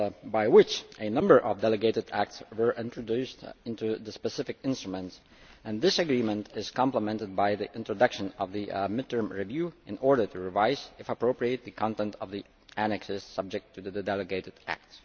by which a number of delegated acts were introduced into the specific instruments. This agreement is complemented by the introduction of the mid term review in order to revise, if appropriate, the content of the annexes subject to the delegated act.